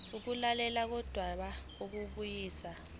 ukulalelwa kodaba lokubuyisana